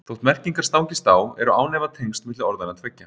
Þótt merkingar stangist á eru án efa tengsl milli orðanna tveggja.